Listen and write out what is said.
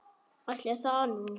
Ætli það nú.